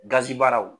Gazi baaraw